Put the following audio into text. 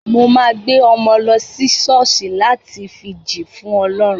Mo máa gbé ọmọ lọ sí ṣọ́ọ̀ṣì láti fi jì fún ọlọ́run.